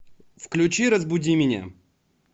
включи разбуди меня